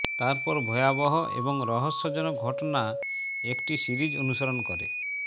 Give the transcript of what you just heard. তারপর ভয়াবহ এবং রহস্যজনক ঘটনা একটি সিরিজ অনুসরণ করে